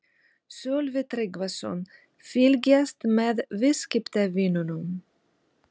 Sölvi Tryggvason: Fylgjast með viðskiptavinunum?